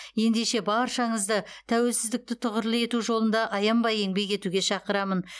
ендеше баршаңызды тәуелсіздікті тұғырлы ету жолында аянбай еңбек етуге шақырамын